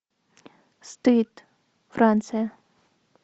стыд франция